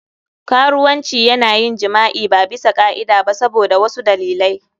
Karuwanci yana yin jima'i ba bisa ka'ida ba saboda wasu dalilai.